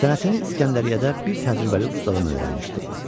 Sənətini İsgəndəriyədə bir təcrübəli ustadan öyrənmişdi.